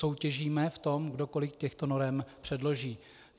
Soutěžíme v tom, kdo kolik těchto norem předloží.